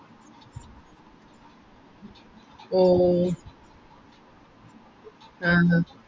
ഹും ആഹാ